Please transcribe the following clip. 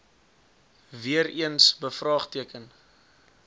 weer eens bevraagteken